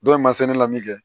Dɔw ye masini lamini kɛ